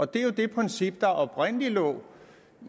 det er det princip der oprindelig lå